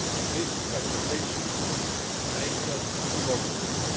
This fragmentation makes us vulnerable.